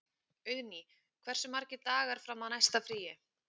Auðný, hversu margir dagar fram að næsta fríi?